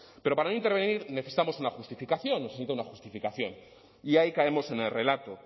pero para no intervenir necesitamos una justificación necesita una justificación y ahí caemos en el relato